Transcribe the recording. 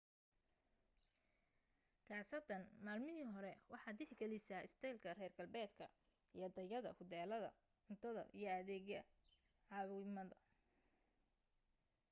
kaasatan maalmamaahii hore waxaad tixgalisaa istaylka reer galbeedka iyo tayada huteelada cuntada iyo adeegyada caawimaada